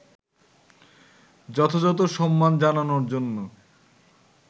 যথাযথ সম্মান জানানোর জন্য